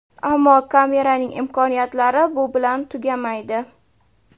Ammo kameraning imkoniyatlari bu bilan tugamaydi.